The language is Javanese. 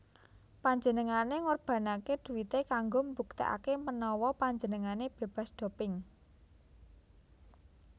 Panjenengane ngorbanake duite kanggo mbuktekake menawa panjenengane bebas doping